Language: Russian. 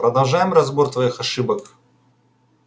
продолжаем разбор твоих ошибок